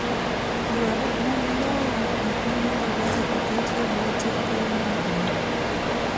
Yuaruok mag lowo epiny Ingereza oket ebwo teko maduong'.